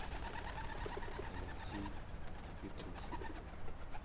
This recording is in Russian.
алексей петрушин